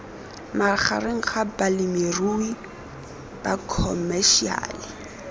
magareng ga balemirui ba khomešiale